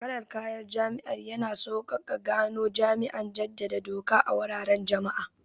Kalar kayan jami'an yana sauƙaƙe gano jami'an jaddada doka a wuraren jama'a.